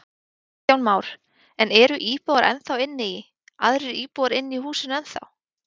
Kristján Már: En eru íbúar ennþá inni í, aðrir íbúar inni í húsinu ennþá?